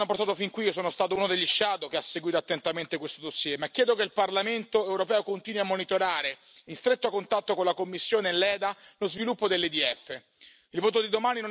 Non ripeto i passaggi che ci hanno portato fin qui, io sono stato uno dei relatori ombra, che ha seguito attentamente questo dossier, ma chiedo che il Parlamento europeo continui a monitorare, in stretto contatto con la Commissione e l'EDA, lo sviluppo dell'EDF.